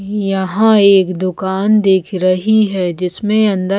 यहाँ एक दुकान दिख रही है जिसमें अन्दर--